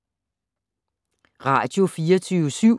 Radio24syv